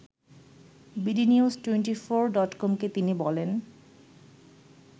bdnews twenty four ডটকমকে তিনি বলেন